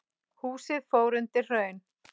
Húsið fór undir hraun.